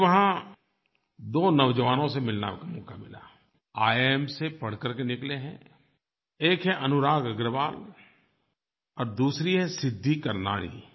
मुझे वहाँ दो नौजवानों से मिलने का मौका मिला ईआईएम से पढ़ करके निकले हैं एक हैं अनुराग अग्रवाल और दूसरी हैं सिद्धि कर्नाणी